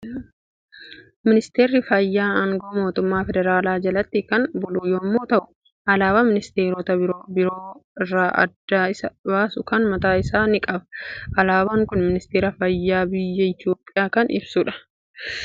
Ministeerri Fayyaa aangoo mootummaa Federaalaa jalatti kan bulu yommuu ta'u, alaabaa ministeerota biroo irraa adda isa baasu kan mataa isaa ni qaba. Alaabaan kun ministeera fayyaa biyya Itoophiyaa kan ibsudha.